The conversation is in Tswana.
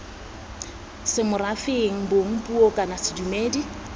semorafeng bong puo kana sedumedi